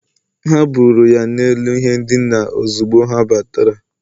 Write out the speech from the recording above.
ha buuru ya n’elu ihe ndina ozugbo ha batara.